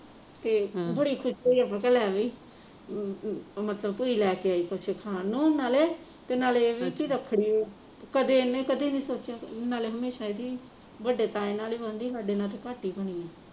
ਤੇ ਬੜੀ ਅਮ ਅਮ ਮਤਲਬ ਭੁਜੀ ਲੈਕੇ ਆਈ ਕੁਸ਼ ਖਾਣ ਨੂੰ ਨਾਲੇ ਤੇ ਨਾਲੇ ਇਹ ਵੀ ਕਿ ਰੱਖੜੀ ਕਦੇ ਇਹਨੇ ਕਦੇ ਨਹੀਂ ਸੋਚਿਆ ਨਾਲੇ ਹਮੇਸ਼ਾ ਇਹਦੀ ਵੱਡੇ ਤਾਏ ਨਾਲ ਹੀ ਬਣਦੀ ਸਾਡੇ ਨਾਲ ਤੇ ਘੱਟ ਹੀ ਬਣੀ ਆ